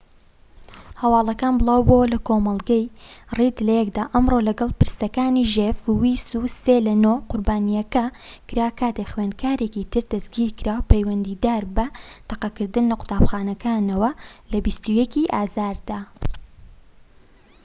هەواڵەکان بلاوبۆوە لە کۆمەڵگەی ڕید لەیکدا ئەمڕۆ لەگەڵ پرسەکانی ژێف ویس و سێ لە نۆ قوربانیەکە کرا کاتێك خوێندکارێکی تر دەستگیرکرا پەیوەندیدار بە تەقەکردن لە قوتابخانەکەوە لە ٢١ ی ئازاردا